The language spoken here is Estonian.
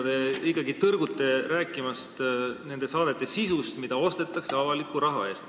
Te ikkagi tõrgute rääkimast nende saadete sisust, mida ostetakse avaliku raha eest.